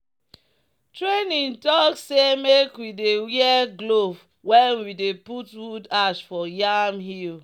"training talk say make we dey wear glove when we dey put wood ash for yam hill."